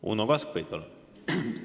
Uno Kaskpeit, palun!